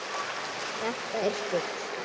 Þetta er fugl.